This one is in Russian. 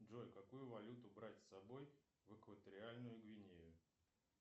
джой какую валюту брать с собой в экваториальную гвинею